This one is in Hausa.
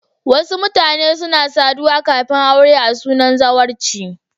Wasu mutane suna saduwa kafin aure a sunan zawarci.